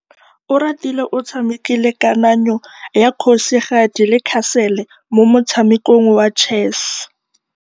Oratile o tshamekile kananyô ya kgosigadi le khasêlê mo motshamekong wa chess.